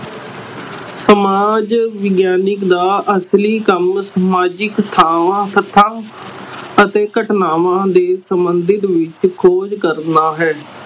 ਸਮਾਜ ਵਿਗਿਆਨਿਕ ਦਾ ਅਸਲੀ ਕੰਮ ਸਮਾਜਿਕ ਥਾਵਾਂ, ਸਥਾ ਅਤੇ ਘਟਨਾਵਾਂ ਦੇ ਸੰਬੰਧਿਤ ਵਿਚ ਖੋਜ ਕਰਨਾ ਹੈ